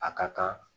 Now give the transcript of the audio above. A ka kan